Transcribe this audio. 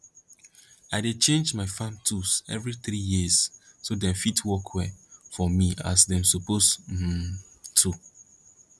i dey change my farm tools every three years so dem fit work well for me as dem suppose um to